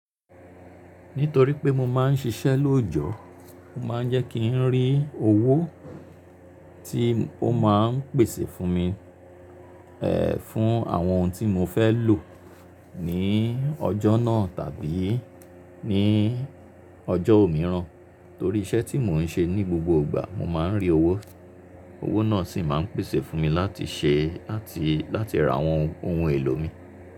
Nítorí pé mo máa ń ṣiṣẹ́ lóòjọ́, mo máa ń jẹ́ kí n rí owó tí ó máa ń pèsè fún mi, fún àwọn ohun tí mo fẹ́ lò ní ọjọ́ náà tàbí ní ọjọ́ òmíràn. Torí iṣẹ́ tí mò ń ṣe ní gbogbo ìgbà mo máa ń rí owó. Owó náà sì máa ń pèsè fún mi láti ṣe láti, láti ra àwọn ohun èlò mi.